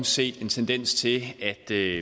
set en tendens til at det